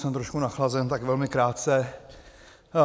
Jsem trošku nachlazen, tak velmi krátce.